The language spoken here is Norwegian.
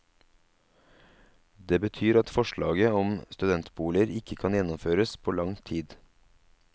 Det betyr at forslaget om studentboliger ikke kan gjennomføres på lang tid.